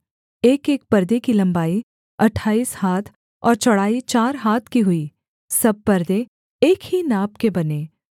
एकएक परदे की लम्बाई अट्ठाईस हाथ और चौड़ाई चार हाथ की हुई सब परदे एक ही नाप के बने